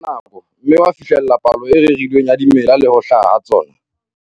Na o jetse ka nako, mme wa fihlella palo e rerilweng ya dimela le ho hlaha ha tsona?